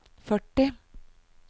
førti